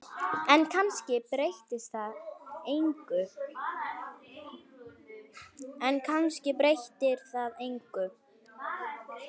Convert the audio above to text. En kannski breytir það engu.